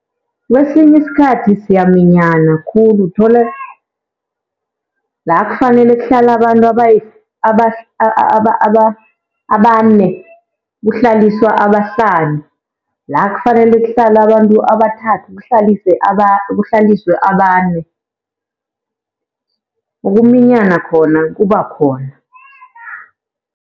Kwesinye isikhathi siyaminyana khulu uthole, la kufanele kuhlala abantu abane kuhlaliswa abahlanu. La kufanele kuhlale abantu abathathu kuhlaliswe abane, ukuminyana khona kuba khona.